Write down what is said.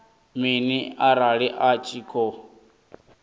mini arali a tshi khou